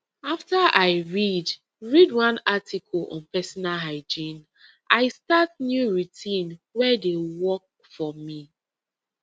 after i read read one article on personal hygiene i start new routine wey dey work for me